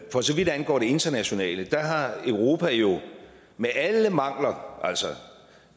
for så vidt angår det internationale har europa jo med alle mangler